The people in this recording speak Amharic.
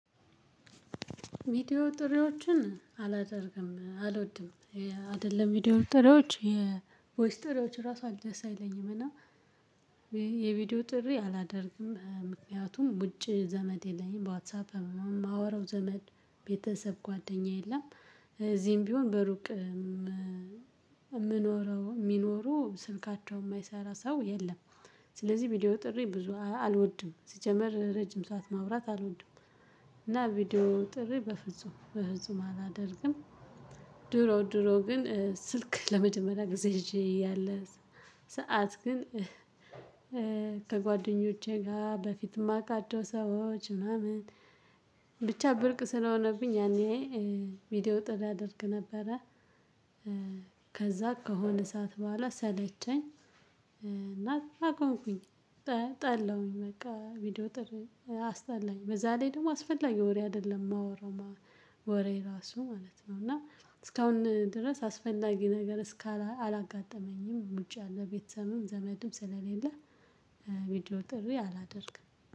ቪዲዮ ጥሪዎችን አላደርግም አልወድም። አይደለም ቪዲዮ ጥሪዎች የቮይስ ጥሪዎች ራሱ አል ደስ አይለኝም እና። የቪዲዮ ጥሪ አላደርግም ምክንያቱም ውጭ ዘመድ የለኝም ዋትሳፕ የማወራው ዘመድ ቤተሰብ ጓደኛ የለም። እዚህም ቢሆን በሩቅ የምኖረው የሚኖሩ ስልካቸው የማይሰራ ሰው የለም። ስለዚህ ቪዲዮ ጥሪ ብዙ አልወድም ሲጀመር ረጅም ሰዓት ማውራት አልወድም። እና ቪዲዮ ጥሪ በፍጹም በፍጹም አላደርግም። ድሮ ድሮ ግን ስልክ ለመጀመሪያ ጊዜ ይዤ እያለ ሰዓት ግን ከጓደኞቼ ጋር በፊት እማቃቸው ሰዎች ምናምን ብቻ ብርቅ ስለሆነብኝ ያኔ። ቪዲዮ ጥሪ አደርግ ነበረ። ከዛ ከሆነ እሳት በኋላ ሰለቸኝ። እና አቆምኩኝ። ጠላሁኝ በቃ ቪዲዮ ጥሪ አስጠላኝ በዛ ላይ ደግሞ አስፈላጊ ወሬ አይደለም ማወራው ማወራው ወሬ ራሱ ማለት ነው። እና እስካሁን ድረስ አስፈላጊ ነገር እስካ አላጋጠመኝም። ውጭ አለ ቤተሰብም ዘመድም ስለሌለ። ቪዲዮ ጥሪ አላደርግም።